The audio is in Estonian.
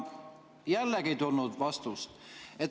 Jällegi ei tulnud vastust.